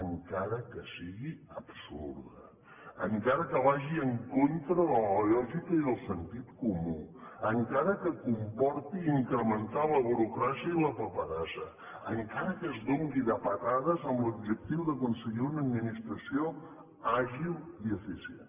encara que sigui absurda encara que vagi en contra de la lògica i del sentit comú encara que comporti incrementar la burocràcia i la paperassa encara que es doni de patadas amb l’objectiu d’aconseguir una administració àgil i eficient